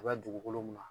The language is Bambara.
A bɛ dugukolo mun na